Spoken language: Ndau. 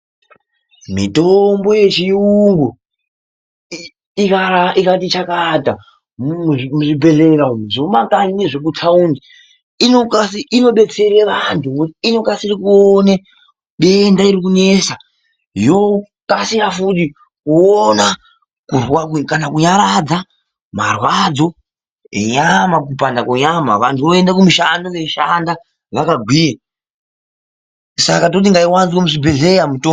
Mitombo yechiyungu ikati chakata muzvibhedhleya umu zvemumakanyi nezvekutaundi inodetsera vanthu ngokuti inokasire kuona denda iri kunetsa yokasira futi kuona kana kunyaradza marwadzo enyama, kupanda kwenyama. Vanthu voenda kumishando veishanda vakagwinya. Saka toti ngaiwanzwe muzvibhedhleya mitombo.